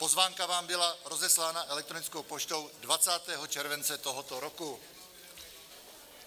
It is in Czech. Pozvánka vám byla rozeslána elektronickou poštou 20. července tohoto roku.